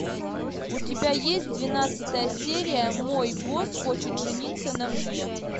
у тебя есть двенадцатая серия мой босс хочет жениться на мне